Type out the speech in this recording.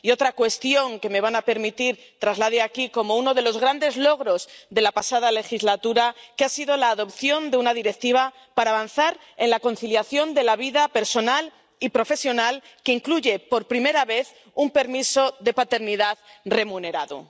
Y otra cuestión que me van a permitir que traslade aquí como uno de los grandes logros de la pasada legislatura ha sido la adopción de una Directiva para avanzar en la conciliación de la vida personal y profesional, que incluye por primera vez un permiso de paternidad remunerado.